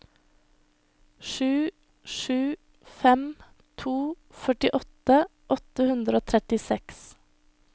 sju sju fem to førtiåtte åtte hundre og trettiseks